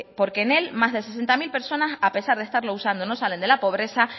porque en él más de sesenta mil personas a pesar de estarlo usando no salen de la pobreza